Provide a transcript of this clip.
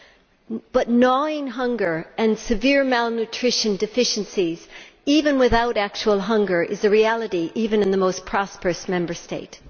However, gnawing hunger and severe malnutrition deficiencies, even without actual hunger, is a reality even in the most prosperous Member States.